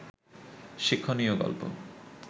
শিক্ষণীয় গল্প